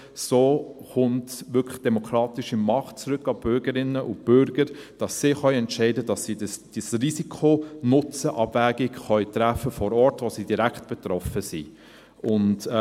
So kommt wirklich demokratische Macht zurück an die Bürgerinnen und Bürger, sodass sie entscheiden und diese Risiko-Nutzen-Abwägung treffen können – direkt vor Ort, wo sie betroffen sind.